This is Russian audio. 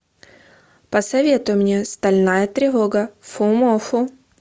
посоветуй мне стальная тревога фумоффу